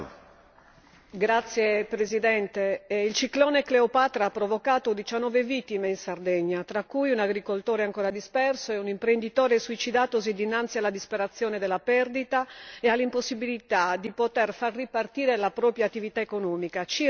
Signor Presidente, onorevoli colleghi, il ciclone Cleopatra ha provocato 19 vittime in Sardegna, tra cui un agricoltore ancora disperso e un imprenditore suicidatosi dinanzi alla disperazione della perdita e all'impossibilità di poter far ripartire la propria attività economica.